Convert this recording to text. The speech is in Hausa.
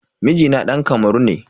Mijina dan Kamaru ne.